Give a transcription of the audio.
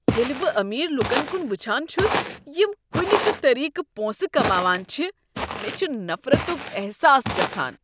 ییلہ بہٕ امیر لکن کن وٕچھان چھس یم کنہ تِہ طریقہٕ پونٛسہٕ کماوان چھ، مےٚ چھ نفرتک احساس گژھان۔